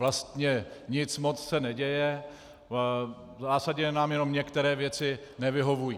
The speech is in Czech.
Vlastně nic moc se neděje, v zásadě nám jenom některé věci nevyhovují.